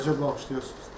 Rəşad, bağışlayırsınız?